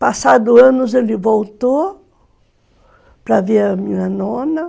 Passados anos ele voltou para ver a minha nona.